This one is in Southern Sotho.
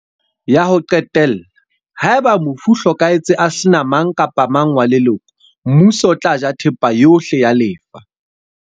Ya ho qetella, haeba mofu o hlokahetse a sena mang kapa mang wa leloko, Mmuso o tla ja thepa yohle ya lefa.